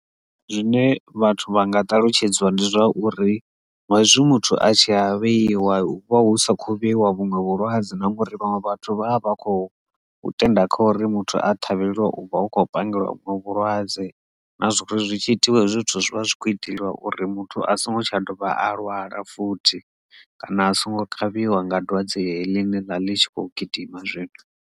Zwine vhathu vha nga talutshedziwa ndi zwauri ngazwo muthu a tshi a vheiwa hu vha hu sa khou vheiwa vhuṅwe vhulwadze na ngori vhanwe vhathu vha vha vha khou tenda kha uri muthu a ṱhavheliwa u hu khou pangiwa vhuṅwe vhulwadze na zwori zwi tshi itiwe zwithu zwivha zwi kho itelwa uri muthu a songo tsha dovha a lwala futhi kana a songo kavhiwa nga dwadze heḽi ḽe ḽavha ḽi tshi khou gidima zwino.